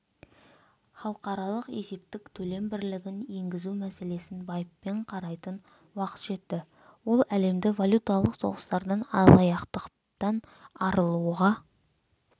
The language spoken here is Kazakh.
халықаралық есептік төлем бірлігін енгізу мәселесін байыппен қарайтын уақыт жетті ол әлемді валюталық соғыстардан алаяқтықтан арылуға